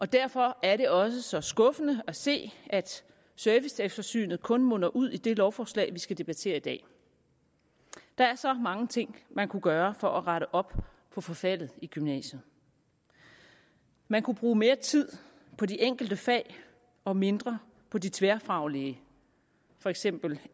og derfor er det også så skuffende at se at serviceeftersynet kun munder ud i det lovforslag vi skal debattere i dag der er så mange ting man kunne gøre for at rette op på forfaldet i gymnasiet man kunne bruge mere tid på de enkelte fag og mindre på de tværfaglige for eksempel